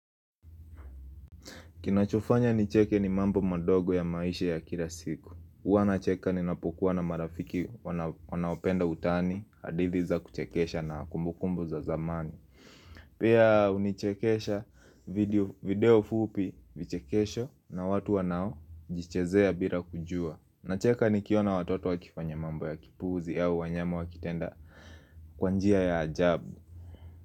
Kinachofanya nicheke ni mambo madogo ya maisha ya kila siku huwana cheka ninapokuwa na marafiki wanaopenda utani, hadithi za kuchekesha na kumbukumbu za zamani Pia hunichekesha video fupi vichekesho na watu wanao jichezea bila kujua, nacheka ni kiona watoto wa kifanya mambo ya kipuzi au wanyama wakitenda kwa njia ya ajabu.